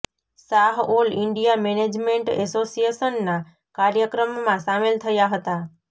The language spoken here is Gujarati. શાહ ઓલ ઈન્ડિયા મેનેજમેન્ટ એસોસિયેશનના કાર્યક્રમમાં સામેલ થયા હતા